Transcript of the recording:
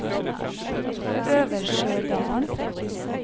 Øversjødalen